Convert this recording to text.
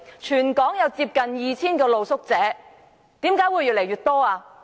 全港有近 2,000 名露宿者，為甚麼露宿者會越來越多？